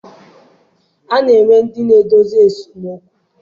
A na-enwe ndị na-edozi esemokwu.